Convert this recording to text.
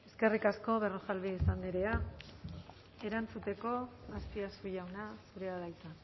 eskerrik asko berrojalbiz andrea erantzuteko azpiazu jauna zurea da hitza